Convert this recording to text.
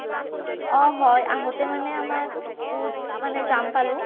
অ হয় আহোঁতে মানে আমাৰ বহুত মানে যাম পালোঁ